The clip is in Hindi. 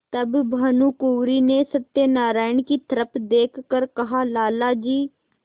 तब भानुकुँवरि ने सत्यनारायण की तरफ देख कर कहालाला जी